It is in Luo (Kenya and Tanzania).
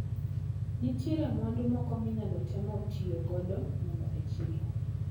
Nitiere mwandu moko minyalo temo tiyo godo nono e chiro.